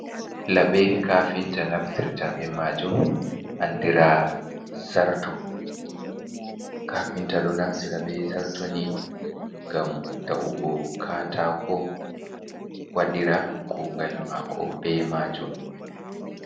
Laɓe kafinta naftirta be majum, andiraa zarto. Kafinta ɗo naftira be zarto ni ngam ta'ugo kataako, waɗira kugal maako be majum.